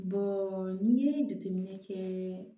n'i ye jateminɛ kɛ